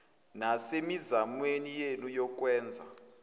nasemizamweni yenu yokwenza